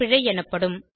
பிழை எனப்படும்